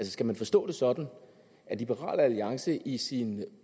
skal man forstå det sådan at liberal alliance i sin